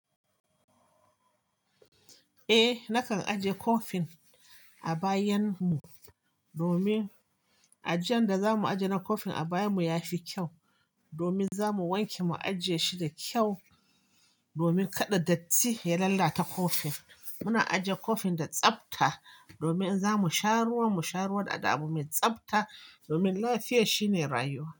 Eh nakan ajiye kofin a bayan mu domin ajiyan da zamu ajiye na kofin a baya mu yafi kyau domin zamu wanke mu ajiye shi da kyau domin kada datti ya lalata kofin. Muna ajiye kofin da tsafta domin in zamu sha ruwan mu sha ruwan da abu mai tsafta domin lafiya shine rayuwa.